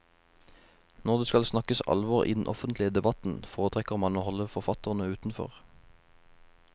Når det skal snakkes alvor i den offentlige debatten, foretrekker man å holde forfatterne utenfor.